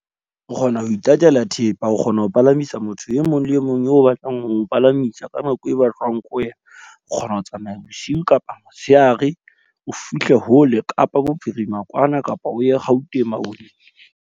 O kgona ho itatela thepa, o kgona ho palamisa motho e mong le e mong eo o batlang ho mo palamisa. Ka nako e batlwang ke wena, o kgona ho tsamaya bosiu kapa motshehare o fihle hole Kapa Bophirima kwana, kapa o ye Gauteng maboneng.